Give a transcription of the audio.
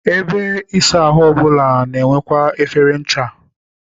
Ebe ịsa ahụ ọbụla na-enwekwa efere ncha.